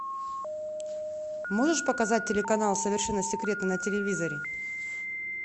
можешь показать телеканал совершенно секретно на телевизоре